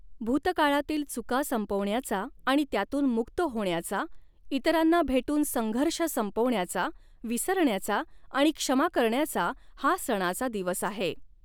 भूतकाळातील चुका संपवण्याचा आणि त्यातून मुक्त होण्याचा, इतरांना भेटून संघर्ष संपवण्याचा, विसरण्याचा आणि क्षमा करण्याचा हा सणाचा दिवस आहे.